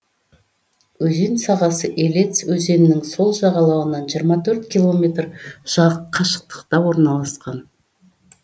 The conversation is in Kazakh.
өзен сағасы елец өзенінің сол жағалауынан жиырма төрт километр қашықтықта орналасқан